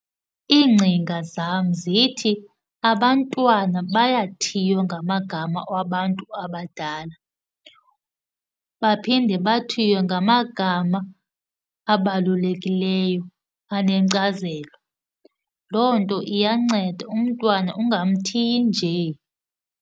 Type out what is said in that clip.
Iingcinga zam zithi abantwana bayathiywa ngamagama wabantu abadala, baphinde bathiywe ngamagama abalulekileyo anenkcazelo. Loo nto iyanceda umntwana ungamthiyi nje.